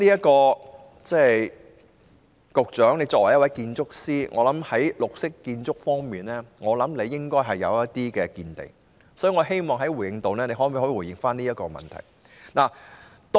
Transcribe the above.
局長作為建築師，我相信他在綠色建築方面應該有一些見地，所以我希望局長在回應時回答這問題。